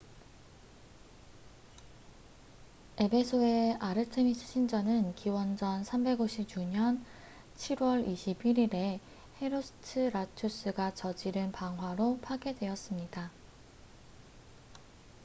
에베소의 아르테미스 신전은 기원전 356년 7월 21일에 헤로스트라투스가 저지른 방화로 파괴되었습니다